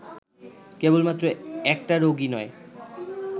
কেবলমাত্র একটা রোগই নয়